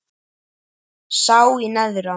sá í neðra